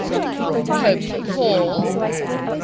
pope paul